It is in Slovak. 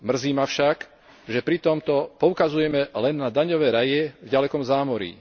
Mrzí ma však, že pri tomto poukazujeme len na daňové raje v ďalekom zámorí.